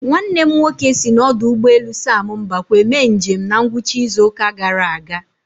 Nwannem nwoke si n'ọdụ ụgbọ elu sam mbakwe mee njem na ngwụcha izu ụka gara aga